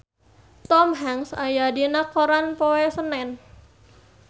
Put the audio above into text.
Tom Hanks aya dina koran poe Senen